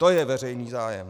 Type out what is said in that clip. To je veřejný zájem.